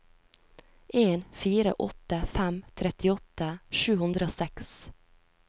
en fire åtte fem trettiåtte sju hundre og seks